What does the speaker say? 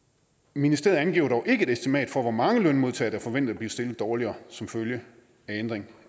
ministeriet angiver dog ikke et estimat for hvor mange lønmodtagere der forventes at blive stillet dårligere som følge af ændringen